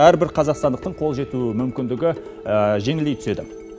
әрбір қазақстандықтың қол жетуі мүмкіндігі жеңілдей түседі